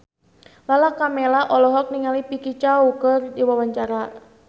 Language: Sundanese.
Lala Karmela olohok ningali Vicki Zao keur diwawancara